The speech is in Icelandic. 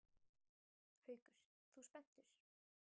Haukur: Þú spenntur?